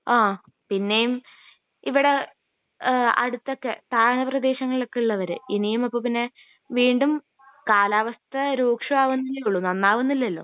ആഹ് പിന്നേം ഇവിടെ ഏഹ് അടുത്തൊക്കെ താഴ്ന്ന പ്രദേശങ്ങളിൽ ഒക്കെ ഉള്ളവർ ഇനിയും അപ്പൊ പിന്നെ വീണ്ടും കാലാവസ്ഥ രൂക്ഷം ആവുന്നേല്ലെ ഒള്ളു നന്നാവുന്നില്ലലോ